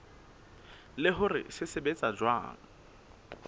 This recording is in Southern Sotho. le hore se sebetsa jwang